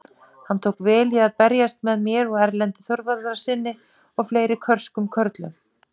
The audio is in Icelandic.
Hann tók vel í að berjast með mér og Erlendi Þorvarðarsyni og fleiri körskum körlum!